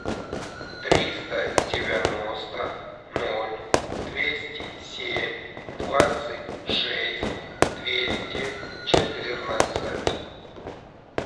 триста девяносто ноль двести семь двадцать шесть двести четырнадцать